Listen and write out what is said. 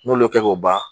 N'olu y'o kɛ k'o ban